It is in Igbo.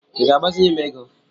I ga-agbazinye m ego?